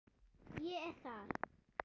Ég er þar.